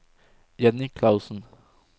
Jenny Klausen